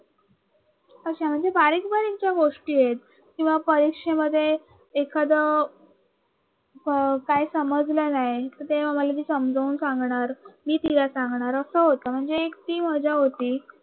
अशा म्हणजे बारीक बारीक गोष्टी आहेत परीक्षेमध्ये एखाद काय समजलं नाही तर ते आम्हाला ते मला ती समजून सांगणार मी तिला सांगणार अस होत इतकी मजा होती